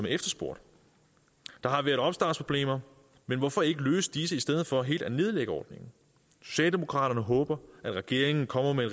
efterspurgt der har været opstartsproblemer men hvorfor ikke løse disse i stedet for helt at nedlægge ordningen socialdemokraterne håber at regeringen kommer med